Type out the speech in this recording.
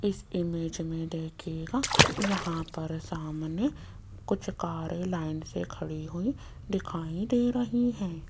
इस इमेज में देखियेगा यहां पर सामने कुछ कारे सामने लाइन से खड़ी हुई दिखाई दे रही हैं।